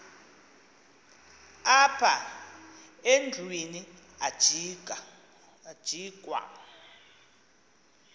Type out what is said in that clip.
apha endlwini ajikwa